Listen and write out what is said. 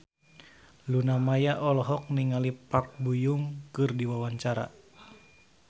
Luna Maya olohok ningali Park Bo Yung keur diwawancara